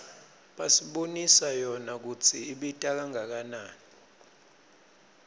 basibonisa yona kutsi ibita kangakanani